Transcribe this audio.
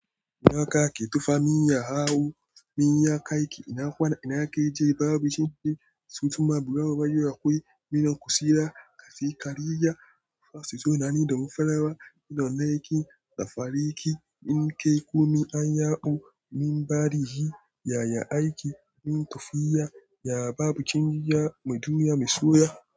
Ina ka ke tofa? Min ya hau, min ya aiki. Ina kwana, ina ke je? Babu cin jin. Cum cumma bro ubayyo. Akwai minan kusira, ka fi kariya. Fa su zo nanin da mun farawa. Minan naiki, da fariki. Min kai ku min an yaɓo. Min bari ji yaya aiki. Min tafiya, yaba bucin ya. Mu duniya mu soya.